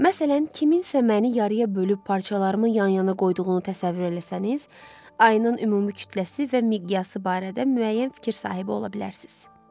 Məsələn, kimsə məni yarıya bölüb parçalarımı yan-yana qoyduğunu təsəvvür eləsəniz, ayının ümumi kütləsi və miqyası barədə müəyyən fikir sahibi ola bilərsiniz.